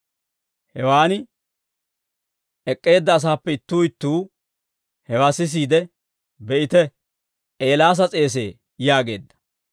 Hewaan ek'k'eedda asaappe ittuu ittuu hewaa sisiide, «Be'ite; Eelaasa s'eesee» yaageedda.